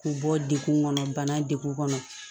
K'u bɔ degun kɔnɔ bana de kɔnɔ